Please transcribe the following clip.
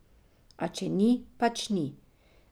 A če ni, pač ni.